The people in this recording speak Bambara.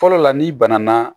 Fɔlɔ la n'i banana